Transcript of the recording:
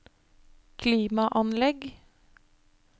klimaanlegg